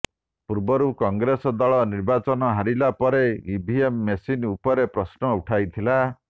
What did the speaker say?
ପୂର୍ବରୁ କଂଗ୍ରେସ ଦଳ ନିର୍ବାଚନ ହାରିଲା ପରେ ଇଭିଏମ୍ ମେସିନ୍ ଉପରେ ପ୍ରଶ୍ନ ଉଠାଉଥିଲା